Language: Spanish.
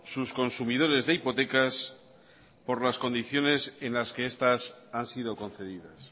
sus consumidores de hipotecas por las condiciones en las que estas han sido concedidas